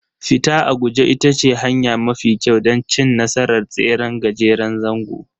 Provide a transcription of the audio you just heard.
Fita a guje ita ce hanya mafi kyau don cin nasarar tseren gajeren zango